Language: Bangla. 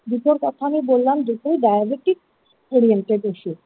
দুটো কথা আমি বললাম দুটোই diabetic orientated ইসু।